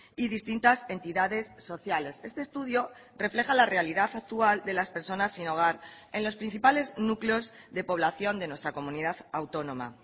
y distintas entidades sociales este estudio refleja la realidad actual de las personas sin hogar en los principales núcleos de población de nuestra comunidad autónoma